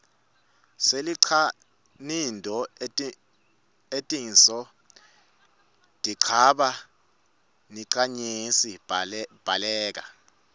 silinqanido etinso dinqaba niqanyesi bhakela